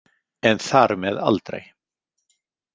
En þar með aldrei.